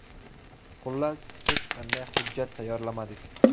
Xullas, hech qanday hujjat tayyorlamadik.